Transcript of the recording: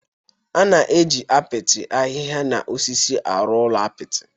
A na-eji apịtị, ahịhịa na osisi arụ ụlọ apịtị.